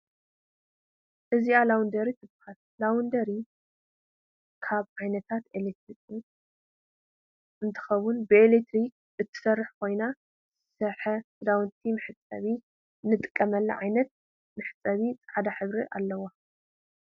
እዚኣ ላውደሪ ትበሃል ላውደሪ ካብ ዓይነታት ኤሌክትሮክስ እንትከውን ብኤሌክትሪክ እትሰርሕ ኮይና ዝረሰሐ ክዳውንቲ መሕፀበት እንጥቀመላ ዓይነት መሽን ፃዕዳ ሕብሪ ኣለዋ።